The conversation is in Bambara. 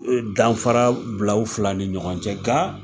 U ye danfara bila u fila ni ɲɔgɔn cɛ , nga.